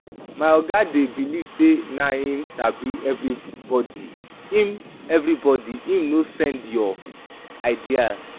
My oga dey beliv sey na him sabi pass everybodi, him everybodi, him no send your ideas.